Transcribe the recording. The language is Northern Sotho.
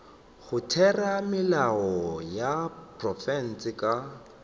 go theramelao ya profense ka